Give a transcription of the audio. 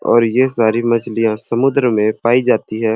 और ये सारी मछलियाँ समुद्र में पाई जाती है।